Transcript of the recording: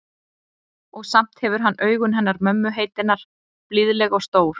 Og samt hefur hann augun hennar mömmu heitinnar, blíðleg og stór.